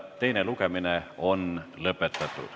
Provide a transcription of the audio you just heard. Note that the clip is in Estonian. Teine lugemine on lõpetatud.